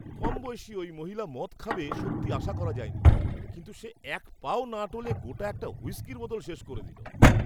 কমবয়সী ঐ মহিলা মদ খাবে সত্যি আশা করা যায়নি কিন্তু সে এক পা ও না টলে গোটা একটা হুইস্কির বোতল শেষ করে দিল!